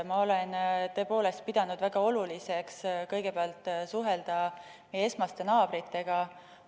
Ma olen tõepoolest pidanud väga oluliseks kõigepealt suhelda meie esmaste naabritega.